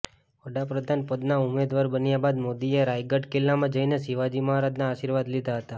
વડાપ્રધાન પદના ઉમેદવાર બન્યા બાદ મોદીએ રાયગઢ કિલ્લામાં જઈને શિવાજી મહારાજના આશીર્વાદ લીધા હતા